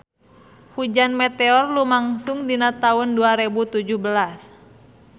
Hujan meteor lumangsung dina taun dua rebu tujuh belas